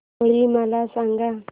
होळी मला सांगा